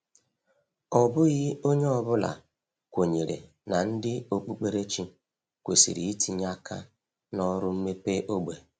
Ọ bụghị onye ọ bụla kwenyere na ndị okpukperechi kwesịrị itinye aka na ọrụ mmepe ógbè.